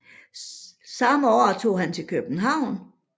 Samme år tog han til København